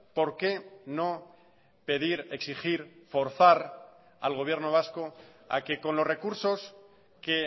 porque no pedir exigir forzar al gobierno vasco a que con los recursos que